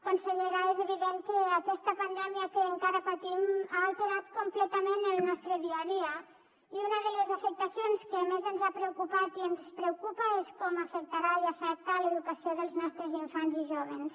consellera és evident que aquesta pandèmia que encara patim ha alterat completament el nostre dia a dia i una de les afectacions que més ens ha preocupat i ens preocupa és com afectarà i afecta l’educació dels nostres infants i jóvens